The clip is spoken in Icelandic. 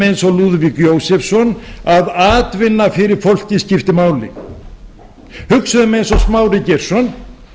eins og lúðvík jósefsson að atvinna fyrir fólkið skipti máli hugsuðum eins og smári geirsson